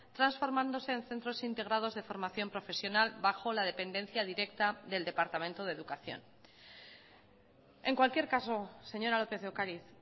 transformándose en centros integrados de formación profesional bajo la dependencia directa del departamento de educación en cualquier caso señora lópez de ocariz